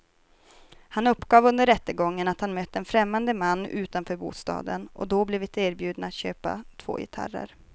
Han uppgav under rättegången att han mött en främmande man utanför bostaden och då blivit erbjuden att köpa två gitarrer.